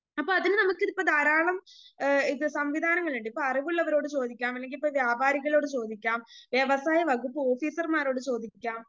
അപ്പ അതിന് നമുക്കിപ്പോ ധാരാളം ഏ സംവിധാനങ്ങളുണ്ട് ഇപ്പോ അറിവുള്ളവരോട് ചോദിക്കാം അല്ലെങ്കിലിപ്പോ വ്യാപാരികളോട് ചോദിക്കാം വ്യവസായ വകുപ്പ് ഓഫീസർമാരോട് ചോദിക്കാം